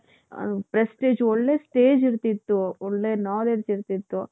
ಅಮ್ prestige ಒಳ್ಳೆ stage ಇರ್ತಿತ್ತು ಒಳ್ಳೆ knowledge ಇರ್ತಿತ್ತು.